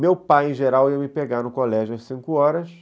Meu pai, em geral, ia me pegar no colégio às cinco horas.